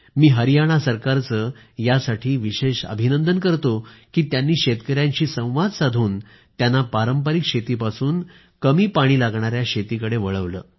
मी हरियाणा सरकारचं विशेष अभिनंदन करतो की त्यांनी शेतकऱ्यांशी संवाद साधून त्यांना पारंपरिक शेतीपासून कमी पाणी लागणाऱ्या शेतीकडे वळवलं